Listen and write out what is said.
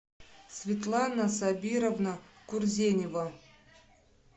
светлана сабировна курзенева